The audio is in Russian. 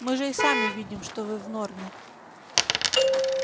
мы же и сами видим что вы в норме